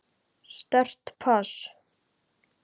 Sterkt pass.